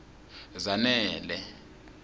zanele